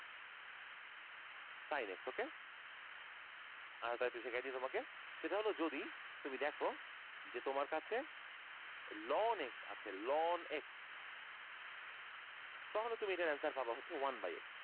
sinx ok? আরেক টা আর একটু শিখিয়ে দেই তোমাকে সেটা হলো যদি তুমি দেখো যে তোমার কাছে lonx আছে lonx তাহলে তুমি এটার answer পাবা হচ্ছে one by x